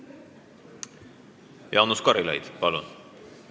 Jaanus Karilaid, palun!